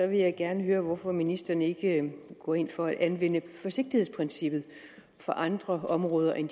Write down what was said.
jeg gerne høre hvorfor ministeren ikke går ind for at anvende forsigtighedsprincippet på andre områder end